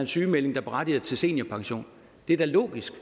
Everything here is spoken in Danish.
sygemelding der berettiger til seniorpension det er da logisk